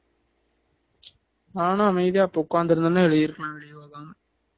உச் நானும் அப்போ அமைதியா உட்காந்து இருந்தா எழுதிருக்கலாம்ல யோகா